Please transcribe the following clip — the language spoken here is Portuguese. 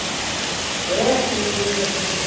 Até fui meio assim com você.